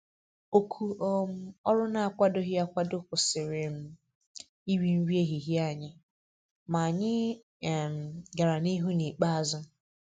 Òkù um ọrụ n'akwadoghị akwado kwụsịrị um iri nri ehihie anyị, ma anyị um gàrà n' ihu n' ikpeazụ.